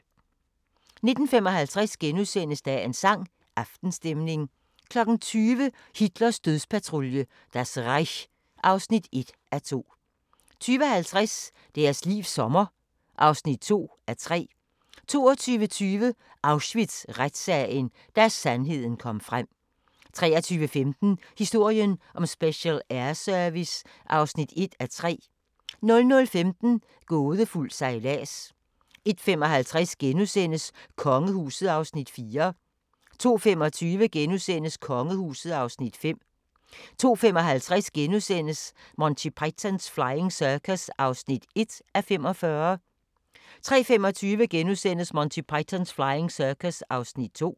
19:55: Dagens sang: Aftenstemning * 20:00: Hitlers dødspatrulje – Das Reich (1:2) 20:50: Deres livs sommer (2:3) 22:20: Auschwitz-retssagen – Da sandheden kom frem 23:15: Historien om Special Air Service (1:3) 00:15: Gådefuld sejlads 01:55: Kongehuset (Afs. 4)* 02:25: Kongehuset (Afs. 5)* 02:55: Monty Python's Flying Circus (1:45)* 03:25: Monty Python's Flying Circus (2:45)*